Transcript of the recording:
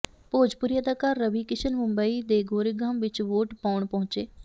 ਭੋਜਪੁਰੀ ਅਦਾਕਾਰ ਰਵੀ ਕਿਸ਼ਨ ਮੁੰਬਈ ਦੇ ਗੋਰੇਗਾਂਵ ਵਿੱਚ ਵੋਟ ਪਾਉਣ ਪਹੁੰਚੇ